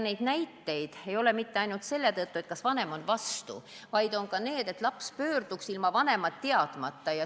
Need näited ei ole seotud mitte ainult sellega, et vanem on vastu, vaid ka vajadusega, et laps saaks psühhiaatri poole pöörduda ilma vanemate teadmata.